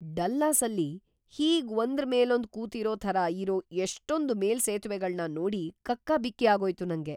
ಡಲ್ಲಾಸಲ್ಲಿ ಹೀಗ್ ಒಂದ್ರ್ ಮೇಲೊಂದ್ ಕೂತಿರೋ ಥರ ಇರೋ ಎಷ್ಟೊಂದ್ ಮೇಲ್‌ಸೇತುವೆಗಳ್ನ ನೋಡಿ ಕಕ್ಕಾಬಿಕ್ಕಿ ಆಗೋಯ್ತು ನಂಗೆ.